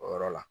O yɔrɔ la